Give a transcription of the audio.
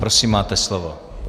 Prosím, máte slovo.